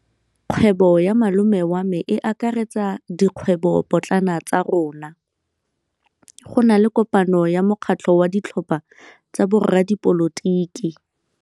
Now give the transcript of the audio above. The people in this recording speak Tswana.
Kgwêbô ya malome wa me e akaretsa dikgwêbôpotlana tsa rona. Go na le kopanô ya mokgatlhô wa ditlhopha tsa boradipolotiki.